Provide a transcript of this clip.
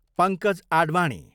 Pankaj Advani